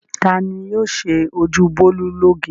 Ta ni yóò ṣe ojú Bólú lóge?